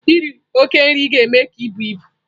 Iri oke nri ga-eme ka ibu ibu.